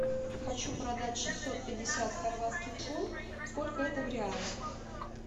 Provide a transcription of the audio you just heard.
хочу продать шестьсот пятьдесят хорватских кун сколько это в реалах